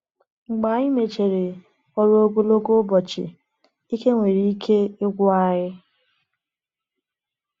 Mgbe anyị mechara ọrụ ogologo ụbọchị, ike nwere ike ịkwụ anyị.